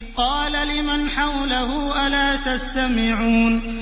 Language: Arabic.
قَالَ لِمَنْ حَوْلَهُ أَلَا تَسْتَمِعُونَ